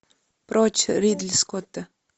прочь ридли скотта